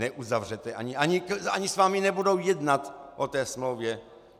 Neuzavřete, ani s vámi nebudou jednat o té smlouvě.